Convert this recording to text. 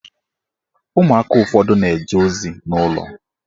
Ụmụaka ụfọdụ na-eje ozi n'ụlọ